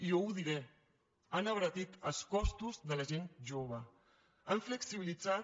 i jo ho diré han abaratit els costos de la gent jove han flexibilitzat